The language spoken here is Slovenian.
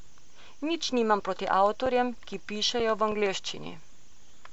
Nič nimam proti avtorjem, ki pišejo v angleščini.